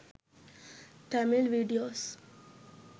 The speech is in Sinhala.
tamil videos